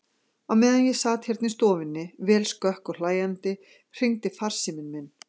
Á meðan ég sat hérna í stofunni, vel skökk og hlæjandi, hringdi farsíminn minn.